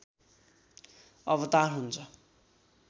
अवतार हुन्छ